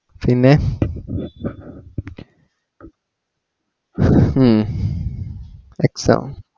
പിന്നെ ഹും exam